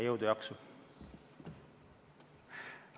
Jõudu-jaksu!